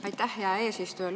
Aitäh, hea eesistuja!